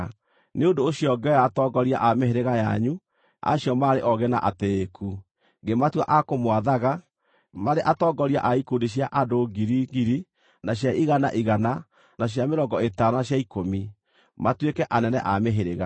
Nĩ ũndũ ũcio ngĩoya atongoria a mĩhĩrĩga yanyu, acio maarĩ oogĩ na atĩĩku, ngĩmatua a kũmwathaga, marĩ atongoria a ikundi cia andũ ngiri ngiri, na cia igana igana, na cia mĩrongo ĩtano na cia ikũmi, matuĩke anene a mĩhĩrĩga.